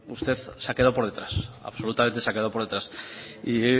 usted se ha quedado por detrás absolutamente se ha quedado por detrás